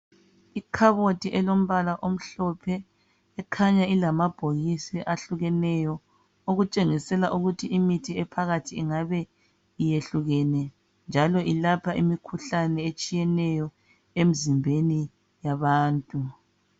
Ikhabothi elombala omhlophe ekhanya ilamabhokisi ahlukeneyo okutshengisela ukuthi imithi ephakathi ingabe iyehlukene njalo ilapha imikhuhlane etshiyeneyo emzimbeni yabantu.